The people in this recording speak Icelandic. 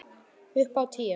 Upp á tíu!